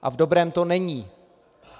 A v dobrém to není.